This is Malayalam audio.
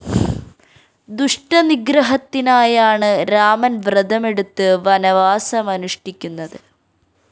ദുഷ്ട നിഗ്രഹത്തിനായാണ് രാമന്‍ വ്രതമെടുത്ത് വനവാസമനുഷ്ഠിക്കുന്നത്